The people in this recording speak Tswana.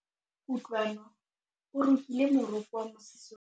Kutlwanô o rokile morokô wa mosese wa gagwe ka tlhale.